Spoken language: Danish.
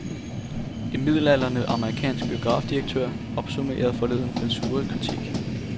En midaldrende amerikansk biografdirektør opsummerede forleden den sure kritik.